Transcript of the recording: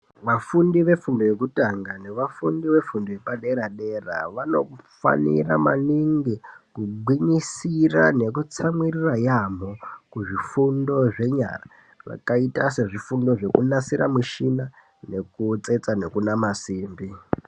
Vafundi vefundo yekutanga ne vafundi vefundo yepadera dera vanofanira maningi kugwinyisira nekutsamwirira yaamho kuzvifundo zvenyara zvakaita sezvifundo zvekunasira mushina nekutsetsa nekunama simbi.